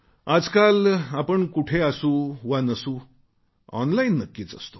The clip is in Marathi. आजकाल आपण आणखी कुठे असू वा नसू ऑनलाइन नक्कीच असतो